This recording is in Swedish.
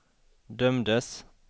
dömdes